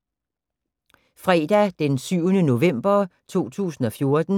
Fredag d. 7. november 2014